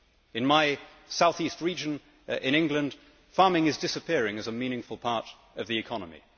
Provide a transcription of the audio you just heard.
In my South East region in England, farming is disappearing as a meaningful part of the economy.